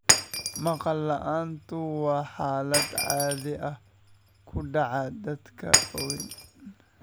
Maqal la'aantu waa xaalad caadi ah oo ku dhacda dadka waaweyn.